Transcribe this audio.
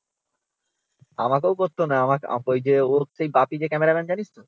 আমাকেও করত না আমা ওই যে ওর সেই বাপি যে ক্যামেরাম্যান জানিস তো?